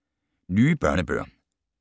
Nye børnebøger